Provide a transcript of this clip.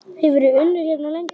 Hefurðu unnið hérna lengi?